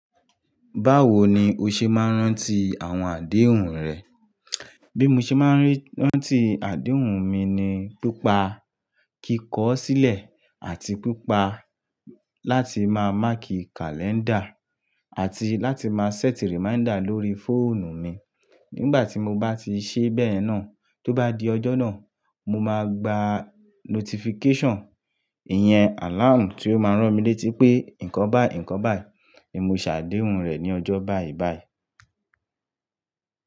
Báwo ni o ṣe máa ń rántí àwọn àdéhùn rẹ? Bí mo ṣe máa ń rántí àdéhùn mi ni pípa kíkọ̀ ọ́ sílẹ̀ àti pípa láti máa máàkì kàlẹ́ńdà àti láti máa ṣẹ́tì rìmáídà lórí fóònù mi. Nígbà tí mo bá ti ṣe bẹ́ẹ̀ náà, tó bá di ọjọ́ náà, mo máa gba notifíkẹ́ṣàn, ìyẹn àláàmù tí ó máa ń rán mi létí pé, "Ìnkọn bayi, ìnkon bayi, ni mó ṣàdéhùn rẹ ní ọjọ́ báìbàì."